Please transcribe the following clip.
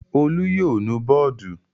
Olú yóò nu bọ́ọ́dù.